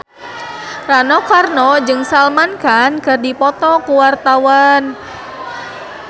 Rano Karno jeung Salman Khan keur dipoto ku wartawan